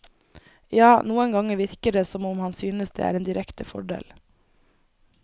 Ja, noen ganger virker det som om han synes det er en direkte fordel.